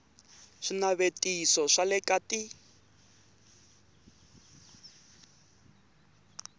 swinavetiso swa le ka t